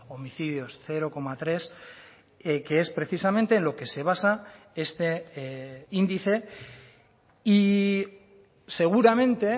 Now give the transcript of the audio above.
homicidios cero coma tres que es precisamente en lo que se basa este índice y seguramente